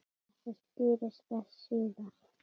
Þetta skýrist betur síðar.